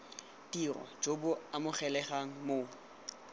tiro jo bo amogelegang mo